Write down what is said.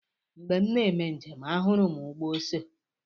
Mgbe m na-eme njem, ahụrụ m ugbo ose.